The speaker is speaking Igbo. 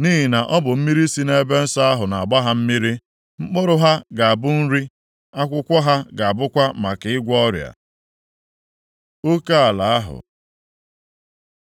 nʼihi na ọ bụ mmiri si nʼebe nsọ ahụ na-agba ha mmiri. Mkpụrụ ha ga-abụ nri, akwụkwọ ha ga-abụkwa maka ịgwọ ọrịa.” Oke ala ahụ